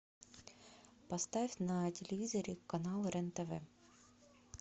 поставь на телевизоре канал рен тв